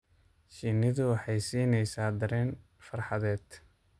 Shinnidu waxay siinaysaa dareen farxadeed.